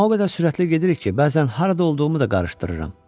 Amma o qədər sürətli gedirik ki, bəzən harada olduğumu da qarışdırıram.